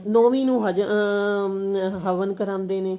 ਨੋਵੀਂ ਨੂੰ ਹਵ hm ਹਵਨ ਕਰਾਉਂਦੇ ਨੇ